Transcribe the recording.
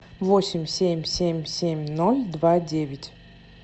восемь семь семь семь ноль два девять